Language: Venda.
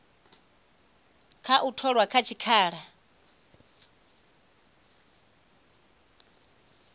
kha u tholwa kha tshikhala